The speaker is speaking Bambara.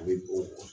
A bɛ o